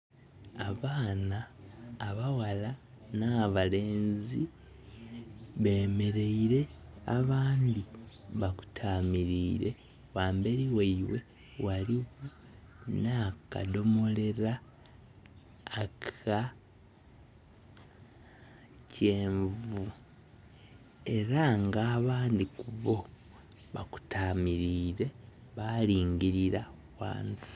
Abaana abawala na balenzi bemereire, abandi bakutamirire. Wamberi waibwe waliwo nakadomolera aka kyenvu era nga abandi kubo bakutamirire balingirira wansi